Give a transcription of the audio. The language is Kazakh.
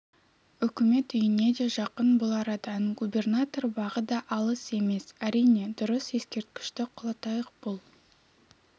үкімет үйіне де жақын бұл арадан губернатор бағы да алыс емес әрине дұрыс ескерткішті құлатайық бұл